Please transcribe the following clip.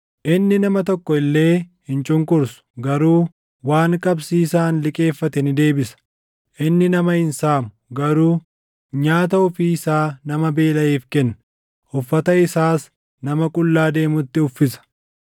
Inni nama tokko illee hin cunqursu; garuu waan qabsiisaan liqeeffate ni deebisa. Inni nama hin saamu; garuu nyaata ofii isaa nama beelaʼeef kenna; uffata isaas nama qullaa deemutti uffisa.